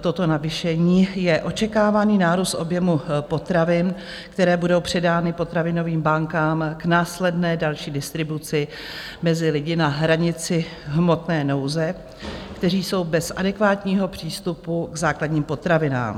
toto navýšení, je očekávaný nárůst objemu potravin, které budou předány potravinovým bankám k následné další distribuci mezi lidi na hranici hmotné nouze, kteří jsou bez adekvátního přístupu k základním potravinám.